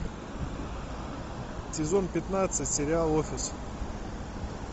сезон пятнадцать сериал офис